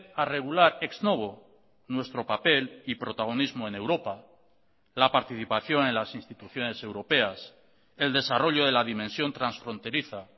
a regular ex novo nuestro papel y protagonismo en europa la participación en las instituciones europeas el desarrollo de la dimensión transfronteriza